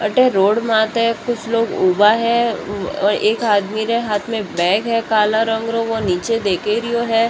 अठे रोड माथे कुछ लोग उभा है एक आदमी रे हाथ में बैग है काला रंग रो वो नीचे देखरियो है।